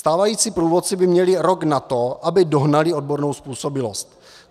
Stávající průvodci by měli rok na to, aby dohnali odbornou způsobilost.